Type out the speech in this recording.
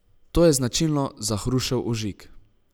To je značilno za hrušev ožig.